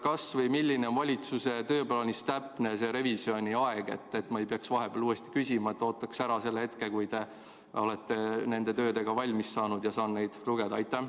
Kas või millal on valitsuse tööplaanis täpne revisjoni aeg, et ma ei peaks vahepeal uuesti küsima, vaid ootaks ära selle hetke, kui te olete nende töödega valmis saanud ja saan neid lugeda?